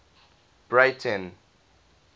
breyten